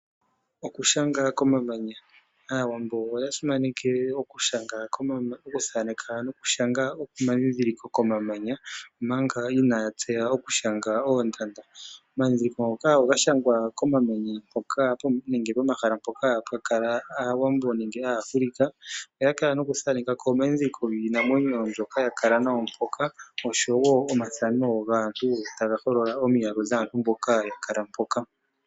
Okushanga komamanya, aawambo oya simanekele okushanga noku thaneka komamanya omanga inaya tseya oku shanga oondanda. Omadhidhiliko ngoka oga shangwa komamanya nenge pomahala mpoka pwa kala aawambo nenge aAfrica. Oya kal noku thaneka ko omadhidhiliko giinamwenyo mbyoka ya kala nayo mpoka oshowo omathano gaantu taga holola omiyalu dhaantu mboka ya kala mpoka.